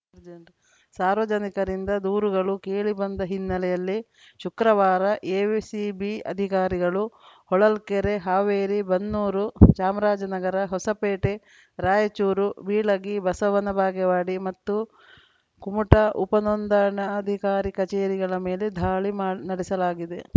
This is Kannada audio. ಸಾರ್ವಜನಿಕರಿಂದ ದೂರುಗಳು ಕೇಳಿಬಂದ ಹಿನ್ನೆಲೆಯಲ್ಲಿ ಶುಕ್ರವಾರ ಎವಿಸಿಬಿ ಅಧಿಕಾರಿಗಳು ಹೊಳಲ್ಕೆರೆ ಹಾವೇರಿ ಬನ್ನೂರು ಚಾಮರಾಜನಗರ ಹೊಸಪೇಟೆ ರಾಯಚೂರು ಬೀಳಗಿ ಬಸವನ ಬಾಗೇವಾಡಿ ಮತ್ತು ಕುಮಟಾ ಉಪನೋಂದಣಾಧಿಕಾರಿ ಕಚೇರಿಗಳ ಮೇಲೆ ಧಾಳಿ ನಡೆಸಲಾಗಿದೆ